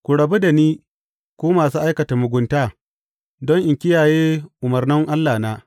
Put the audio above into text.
Ku rabu da ni, ku masu aikata mugunta, don in kiyaye umarnan Allahna!